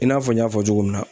I n'a fɔ n y'a fɔ cogo min na.